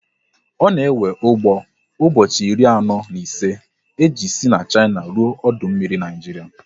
Ọ na ewe ụgbọ ụbọchị iri anọ na ise e ji sị Shina ruo ọdụ mmiri Naịjiria